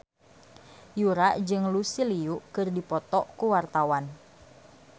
Yura jeung Lucy Liu keur dipoto ku wartawan